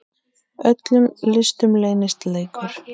Í öllum listum leynist leikur.